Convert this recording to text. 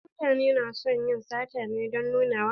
Wasu mutane na son yin sata ne don nunawa.